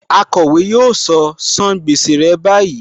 Akọ̀wé yóò sọ " san gbèsè ẹ báyìí '.